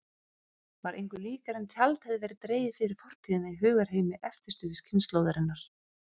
Var engu líkara en tjald hefði verið dregið fyrir fortíðina í hugarheimi eftirstríðskynslóðarinnar.